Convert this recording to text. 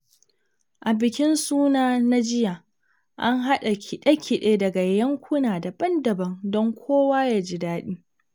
A bikin suna na jiya, an haɗa kiɗe-kiɗe daga yankuna daban-daban don kowa ya ji daɗi.